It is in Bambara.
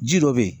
Ji dɔ be yen